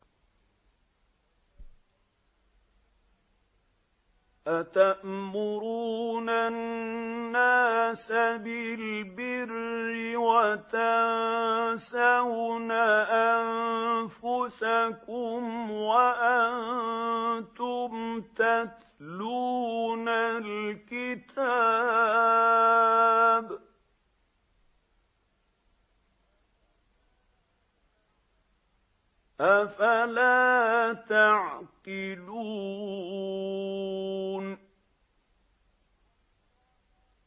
۞ أَتَأْمُرُونَ النَّاسَ بِالْبِرِّ وَتَنسَوْنَ أَنفُسَكُمْ وَأَنتُمْ تَتْلُونَ الْكِتَابَ ۚ أَفَلَا تَعْقِلُونَ